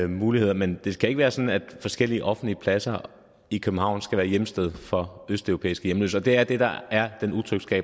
muligheder men det skal ikke være sådan at forskellige offentlige pladser i københavn skal være hjemsted for østeuropæiske hjemløse og det er det der er